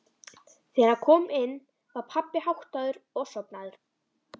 Þegar hann kom inn var pabbi háttaður og sofnaður.